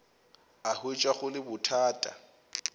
a hwetša go le bothata